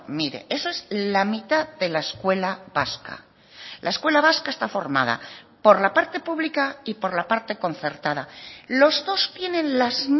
mire esa es la mitad de la escuela vasca la escuela vasca está formada por la parte publica y por la parte concertada los dos tienen las